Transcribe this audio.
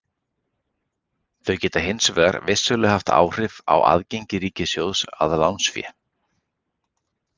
Þau geta hins vegar vissulega haft áhrif á aðgengi ríkissjóðs að lánsfé.